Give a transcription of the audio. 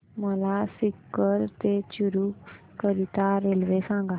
मला सीकर ते चुरु करीता रेल्वे सांगा